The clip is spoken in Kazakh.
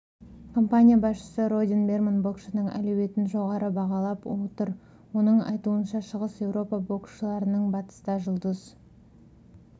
компания басшысы родни берман боксшының әлеуетін жоғары бағалап отыр оның айтуынша шығыс еуропа боксшыларының батыста жұлдыз